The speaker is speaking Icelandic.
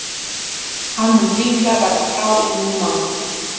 Hann mun líklega verða frá í níu mánuði.